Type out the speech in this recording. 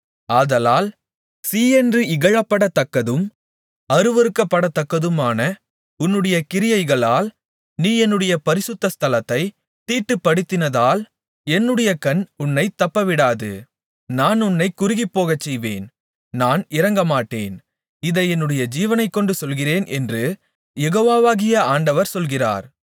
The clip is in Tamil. ஆதலால் சீ என்று இகழப்படத்தக்கதும் அருவருக்கப்படத்தக்கதுமான உன்னுடைய கிரியைகளால் நீ என்னுடைய பரிசுத்த ஸ்தலத்தைத் தீட்டுப்படுத்தினதால் என்னுடைய கண் உன்னைத் தப்பவிடாது நான் உன்னைக் குறுகிப்போகச்செய்வேன் நான் இரங்கமாட்டேன் இதை என்னுடைய ஜீவனைக் கொண்டு சொல்லுகிறேன் என்று யெகோவாகிய ஆண்டவர் சொல்கிறார்